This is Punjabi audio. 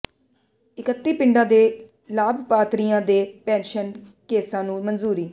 ਇਕੱਤੀ ਪਿੰਡਾਂ ਦੇ ਲਾਭਪਾਤਰੀਆਂ ਦੇ ਪੈਨਸ਼ਨ ਕੇਸਾਂ ਨੂੰ ਮਨਜ਼ੂਰੀ